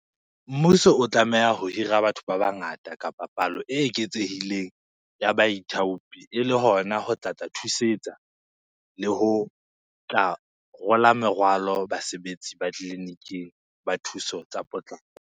Mmuso o tlameha ho hira batho ba bangata kapa palo e eketsehileng ya baithaopi ele hona ho tlatla thusetsa le ho tla rola merwalo basebetsi ba tleliniking, ba thuso tsa potlako.